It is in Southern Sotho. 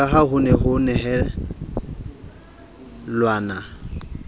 ka ha ho nehelanwe ka